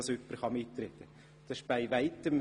Das ist überhaupt nicht der Fall!